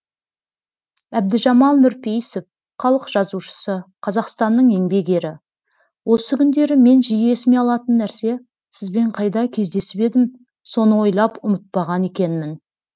әбдіжамал нұрпейісов халық жазушысы қазақстанның еңбек ері осы күндері мен жиі есіме алатын нәрсе сізбен қайда кездесіп едім соны ойлап ұмытпаған екенмін